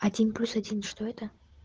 один плюс один что это